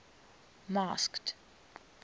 masked